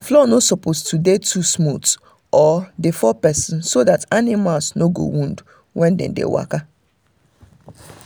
floor no suppose too dey smooth or dey um fall person so that animals no go wound when dem dey waka